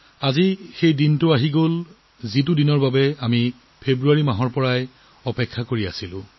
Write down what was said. আজি সেই দিনটো ঘুৰি আহিল যিটো দিনৰ বাবে আমি সকলোৱে ফেব্ৰুৱাৰী মাহৰ পৰা অপেক্ষা কৰি আছিলো